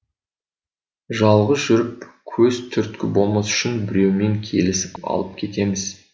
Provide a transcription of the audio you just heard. жалғыз жүріп көз түрткі болмас үшін біреумен келісіп алып кетеміз